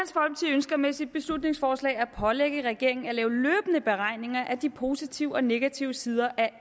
ønsker med sit beslutningsforslag at pålægge regeringen at lave løbende beregninger af de positive og negative sider af